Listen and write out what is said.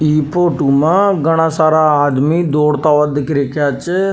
इ फोटो में घाना सारा आदमी दौड़ता हुआ दिख रिया छ।